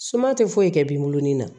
Suma tɛ foyi kɛ binni na